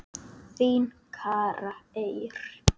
Þín, Kara Eir.